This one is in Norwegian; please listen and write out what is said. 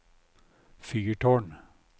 fyrtårn